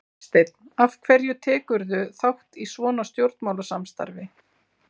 Hafsteinn: Af hverju tekurðu þátt í svona stjórnmálastarfi?